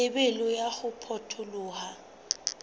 lebelo la ho potoloha ha